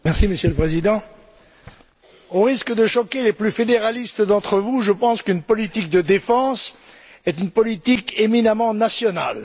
Monsieur le Président, au risque de choquer les plus fédéralistes d'entre vous, je pense qu'une politique de défense est une politique éminemment nationale.